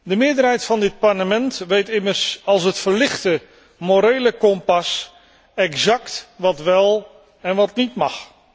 De meerderheid van dit Parlement weet immers als het verlichte morele kompas exact wat wel en wat niet mag.